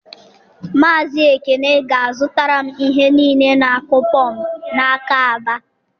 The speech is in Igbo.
Maazị Ekene ga-azụtara m ihe niile na-akụ pọmpụ n'aka ABA